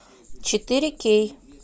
четыре кей